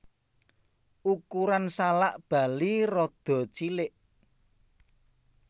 Ukuran salak Bali rada cilik